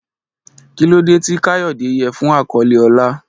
Kí ló dé tí Kayode yẹ fún àkọlé ọlá?